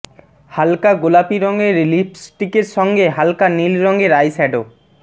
হালকা গোলাপি রঙের লিপস্টিকের সঙ্গে হালকা নীল রঙের আইশ্যাডো